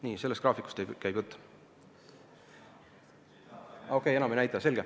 Nii, sellest graafikust käib jutt.